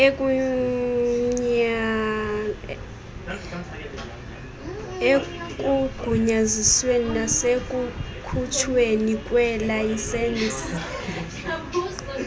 ekugunyazisweni nasekukhutshweni kweelayisensi